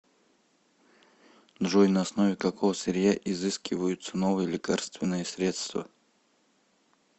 джой на основе какого сырья изыскиваются новые лекарственные средства